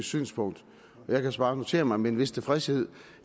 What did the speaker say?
synspunkt jeg kan så bare notere mig med en vis tilfredshed